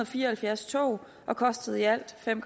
fire og halvfjerds tog og kostede i alt fem